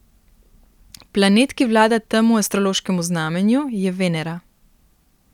Planet, ki vlada temu astrološkemu znamenju, je Venera.